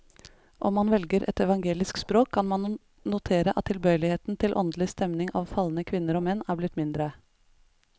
Om man velger et evangelisk språk, kan man notere at tilbøyeligheten til åndelig stening av falne kvinner og menn er blitt mindre.